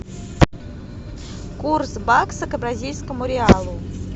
курс бакса к бразильскому реалу